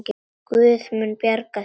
Guð mun bjarga þér.